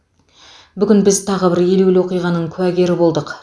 бүгін біз тағы бір елеулі оқиғаның куәгері болдық